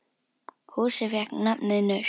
Húsið fékk nafnið Naust.